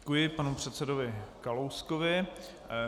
Děkuji panu předsedovi Kalouskovi.